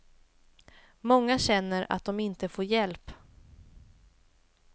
Många känner att de inte får hjälp.